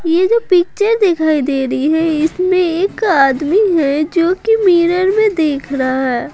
ये जो पिक्चर दिखाई दे रही है इसमें एक आदमी है जो कि मिरर में देख रहा है।